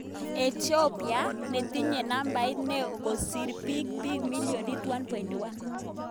Ethiopia, netinye nabait ne o kosir pik ,pik millionit 1.1